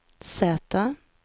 Z